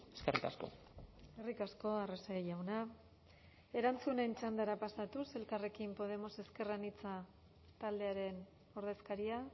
eskerrik asko eskerrik asko arrese jauna erantzunen txandara pasatuz elkarrekin podemos ezker anitza taldearen ordezkaria